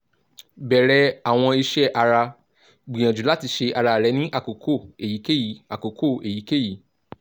bẹrẹ awọn iṣẹ ara gbiyanju lati ṣe ara rẹ ni akoko eyikeyi akoko eyikeyi